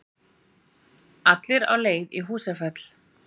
Allir á leið í Húsafell.